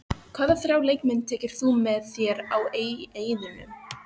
Hvaða þrjá leikmenn tækir þú með þér á eyðieyju?